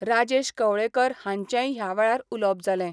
राजेश कवळेकर हांचेय हयावेळार उलवप जाले.